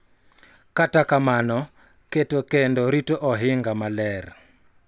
Kata kamano, keto kendo rito ohinga maler .